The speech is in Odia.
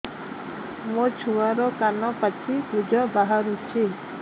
ମୋ ଛୁଆର କାନ ପାଚି ପୁଜ ବାହାରୁଛି